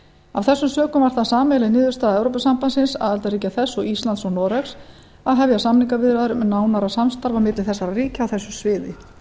af þessum sökum var það sameiginleg niðurstaða evrópusambandsins aðildarríkja þess og íslands og noregs að hefja samningaviðræður um nánara samstarf á milli þessara ríkja á þessu sviði